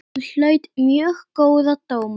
Hún hlaut mjög góða dóma.